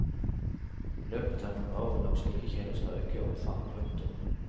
I løpet av noen år vil nok slike tjenester øke i omfang. punktum